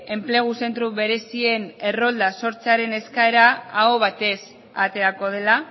enplegu zentro berezien errolda sortzearen eskaera aho batez aterako dela